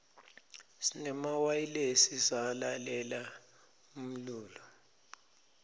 sinemawayilesi salalela umlulo